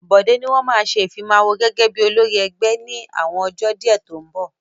Bọ̀dé ni wọ́n ma ṣe Ìfimáwo gẹ́gẹ́ bí olórí ẹgbẹ́ ní àwọn ọjọ́ díẹ̀ tó ń bọ̀